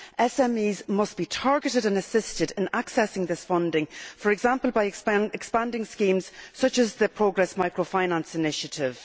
SMEs must be targeted and assisted in accessing that funding, for example by expanding schemes such as the Progress Microfinance initiative.